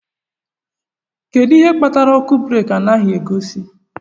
Kedu ihe kpatara ọkụ breeki anaghị egosi?